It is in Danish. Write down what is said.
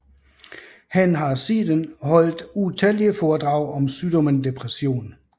Han har siden holdt utallige foredrag om sygdommen depression